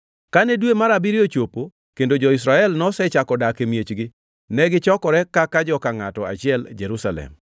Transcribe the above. Kane dwe mar abiriyo ochopo kendo jo-Israel nosechako dak e miechgi, negichokore kaka joka ngʼato achiel e Jerusalem.